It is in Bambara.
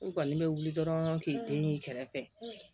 U kɔni bɛ wuli dɔrɔn k'i den y'i kɛrɛfɛ